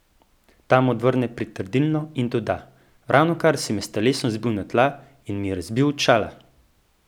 Ta mu odvrne pritrdilno in doda: "Ravnokar si me s telesom zbil na tla in mi razbil očala".